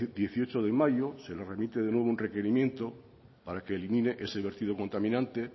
dieciocho de mayo se nos remite de nuevo un requerimiento para que elimine ese vertido contaminante